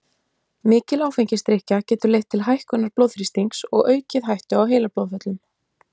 Mikil áfengisdrykkja getur leitt til hækkunar blóðþrýstings og aukið hættu á heilablóðföllum.